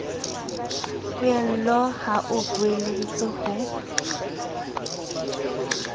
poello ha o beeleditse ho